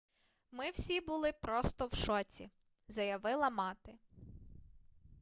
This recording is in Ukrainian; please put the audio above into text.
ми всі були просто в шоці - заявила мати